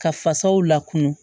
Ka fasaw lakun